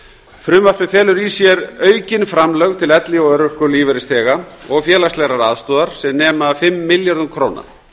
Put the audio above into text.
frumvarpið felur í sér aukin framlög til elli og örorkulífeyrisþega og félagslegrar aðstoðar sem nema fimm milljörðum króna